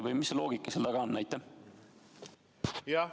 Või mis loogika seal taga on?